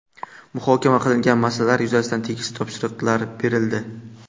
Muhokama qilingan masalalar yuzasidan tegishli topshiriqlar berildi.